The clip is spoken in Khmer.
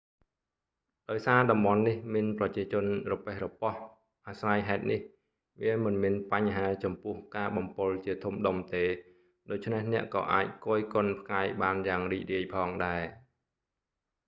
ដោយសារតំបន់នេះមានប្រជាជនរប៉េះរប៉ោះ អាស្រ័យហេតុនេះ វាមិនមានបញ្ហាចំពោះការបំពុលជាធំដុំទេ ដូច្នេះអ្នកក៏អាចគយគនផ្កាយបានយ៉ាងរីករាយផងដែរ